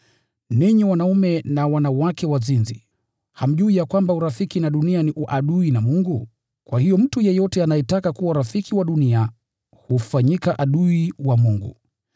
Ninyi wanaume na wanawake wazinzi, hamjui ya kwamba urafiki na dunia ni uadui na Mungu? Kwa hiyo mtu yeyote anayetaka kuwa rafiki wa dunia hufanyika adui wa Mungu.